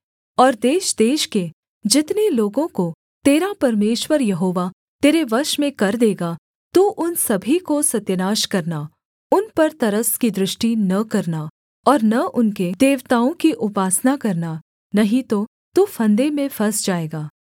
और देशदेश के जितने लोगों को तेरा परमेश्वर यहोवा तेरे वश में कर देगा तू उन सभी को सत्यानाश करना उन पर तरस की दृष्टि न करना और न उनके देवताओं की उपासना करना नहीं तो तू फंदे में फँस जाएगा